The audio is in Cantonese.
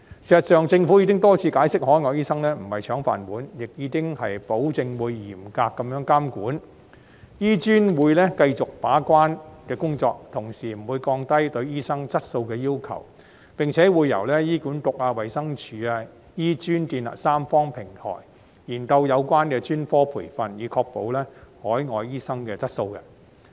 事實上，政府已多次解釋，海外醫生並非"搶飯碗"，亦已保證會嚴格監管，醫專會繼續負責把關的工作，同時不會降低對醫生質素的要求，並且會由醫管局、衞生署及醫專建立三方平台，研究有關的專科培訓，以確保海外醫生的質素。